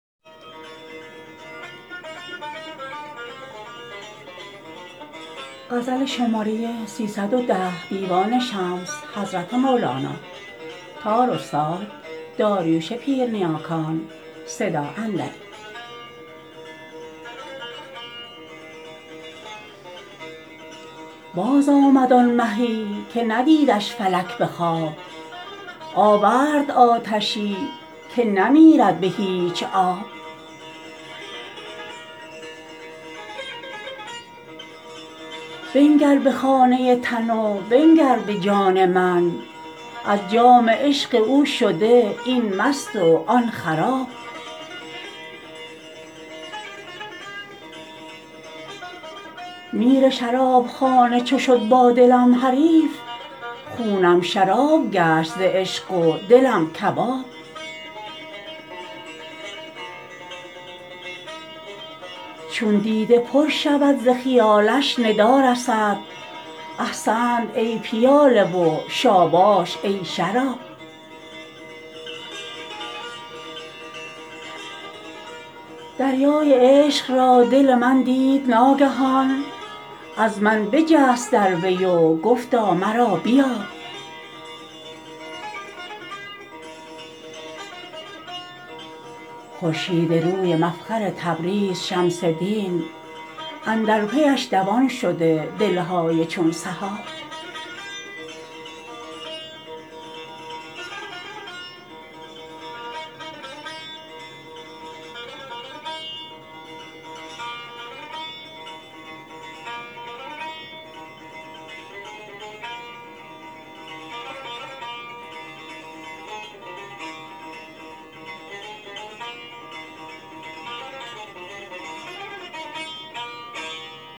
بازآمد آن مهی که ندیدش فلک به خواب آورد آتشی که نمیرد به هیچ آب بنگر به خانه تن و بنگر به جان من از جام عشق او شده این مست و آن خراب میر شرابخانه چو شد با دلم حریف خونم شراب گشت ز عشق و دلم کباب چون دیده پر شود ز خیالش ندا رسد احسنت ای پیاله و شاباش ای شراب دریای عشق را دل من دید ناگهان از من بجست در وی و گفتا مرا بیاب خورشیدروی مفخر تبریز شمس دین اندر پیش دوان شده دل های چون سحاب